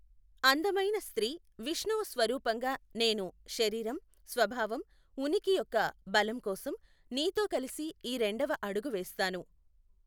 అందమైన స్త్రీ, విష్ణువు స్వరూపంగా నేను శరీరం, స్వభావం, ఉనికి యొక్క బలం కోసం నీతో కలిసి ఈ రెండవ అడుగు వేస్తాను.